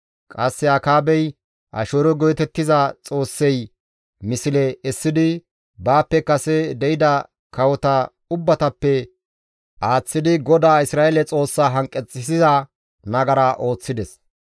Qasse Akaabey Asheero geetettiza xoossay misle essidi baappe kase de7ida kawota ubbatappe aaththidi GODAA Isra7eele Xoossaa hanqeththissiza nagara ooththides.